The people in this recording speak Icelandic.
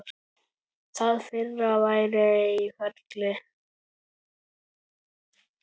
Það fyrra væri í ferli.